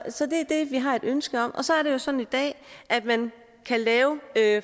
det vi har et ønske om og så er det jo sådan i dag at man kan lave